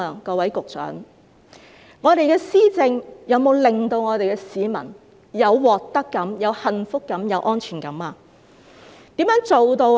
各位局長，我們的施政有否令我們的市民有獲得感、幸福感和安全感呢？